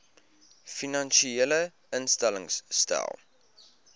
finansiële instellings stel